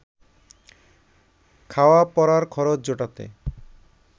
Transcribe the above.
খাওয়া পরার খরচ জোটাতে